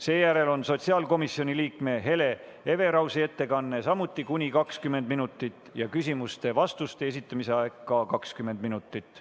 Seejärel on sotsiaalkomisjoni liikme Hele Everausi ettekanne, samuti kuni 20 minutit, küsimuste ja vastuste aeg on ka 20 minutit.